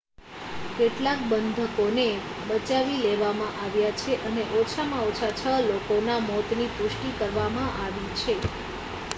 કેટલાક બંધકોને બચાવી લેવામાં આવ્યા છે અને ઓછામાં ઓછા છ લોકોના મોતની પુષ્ટિ કરવામાં આવી છે